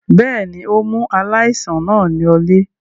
Bẹ́ẹ̀ ni, ó mú aláìsàn náà lọlé.